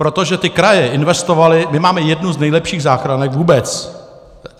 Protože ty kraje investovaly - my máme jednu z nejlepších záchranek vůbec.